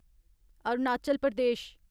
Arunachal Pradesh